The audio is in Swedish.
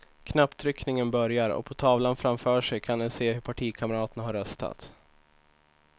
Knapptryckningen börjar och på tavlan framför sig kan de se hur partikamraterna har röstat.